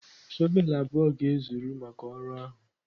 shọvel abụọ ga-ezuru maka ọrụ ahụ.